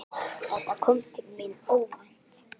Þetta kom til mín óvænt.